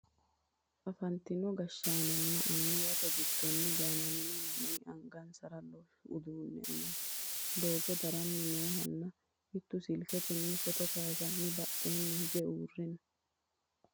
afantino gashshaanonna annuwate giddo gaamamanno manni angansara loosu uduunne amade doogo darani noohanna mitttu silketenni footo kayeesanni badheenni hige uurre no